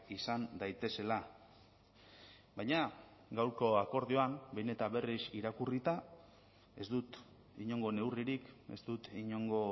izan daitezela baina gaurko akordioan behin eta berriz irakurrita ez dut inongo neurririk ez dut inongo